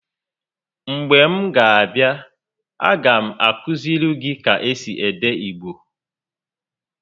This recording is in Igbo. Mgbe m ga a abịa, a ga m akụiziri gị ka esi ede Igbo